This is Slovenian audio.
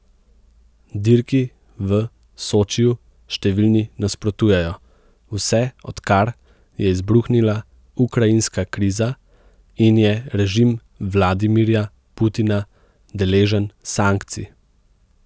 Dirki v Sočiju številni nasprotujejo, vse odkar je izbruhnila ukrajinska kriza in je režim Vladimirja Putina deležen sankcij.